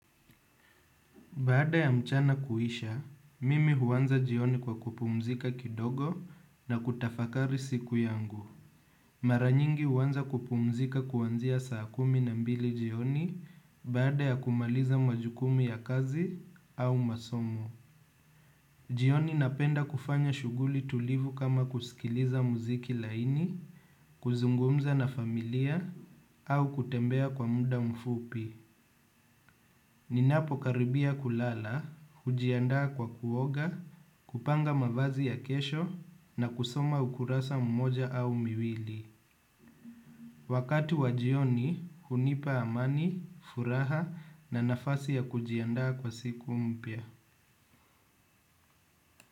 Baada ya mchana kuisha, mimi huanza jioni kwa kupumzika kidogo na kutafakari siku yangu. Mara nyingi huanza kupumzika kuanzia saa kumi na mbili jioni baada ya kumaliza majukumu ya kazi au masomo. Jioni napenda kufanya shughuli tulivu kama kusikiliza muziki laini, kuzungumza na familia au kutembea kwa muda mfupi. Ninapokaribia kulala, hujiandaa kwa kuoga, kupanga mavazi ya kesho na kusoma ukurasa mmoja au miwili. Wakati wa jioni, hunipa amani, furaha na nafasi ya kujiandaa kwa siku mpya.